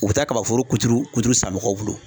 U bɛ taa kaba foro kuturu kuturu san mɔgɔw bolo.